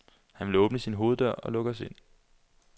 Han vil åbne sin hoveddør og lukke os ind.